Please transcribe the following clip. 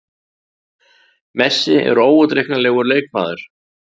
Messi er óútreiknanlegur leikmaður.